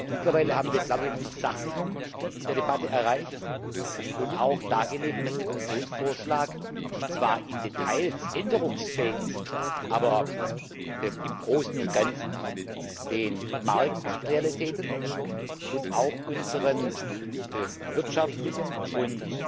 Mittlerweile haben wir, glaube ich, eine Versachlichung der Debatte erreicht und auch dargelegt, dass der Kommissionsvorschlag zwar in Details änderungsfähig ist, aber im Großen und Ganzen den Marktrealitäten und auch unseren wirtschaftlichen und